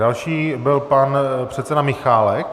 Další byl pan předseda Michálek.